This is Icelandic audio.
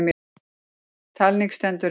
Talning stendur yfir.